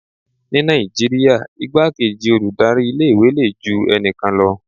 Ní Nàìjíríà igbá kejí olùdarí ilé ìwé le ju ẹnikan lọ.